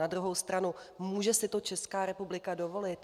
Na druhou stranu: může si to Česká republika dovolit?